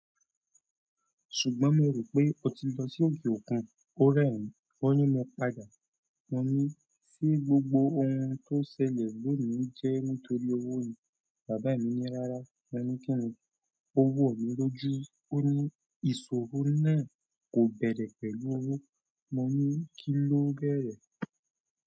Ṣùgbọ́n mo rò pé o ti lọ sí òkè òkun. Ó rẹ́ mi, ó ní mo padà. Mo ní ṣé gbogbo ohun tó ṣẹlẹ̀ lónì jẹ́ nítorí owó ni? Bàbá mi ní rárá. Mo ní kíni? Ó wò mí lójú, ó ní ìṣòro náà kò bẹ̀rẹ̀ pẹ̀lú owó. Mo ní kí ló bẹ̀rẹ̀?